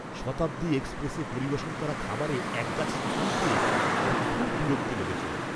শতাব্দী এক্সপ্রেসে পরিবেশন করা খাবারে একগাছি চুল পেয়ে আমার খুব বিরক্ত লেগেছিল।